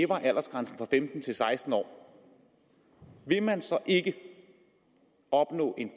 aldersgrænsen fra femten til seksten år vil man så ikke opnå en